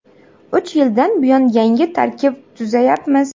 Uch yildan buyon yangi tarkib tuzayapmiz.